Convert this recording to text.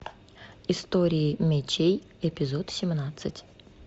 история мечей эпизод семнадцать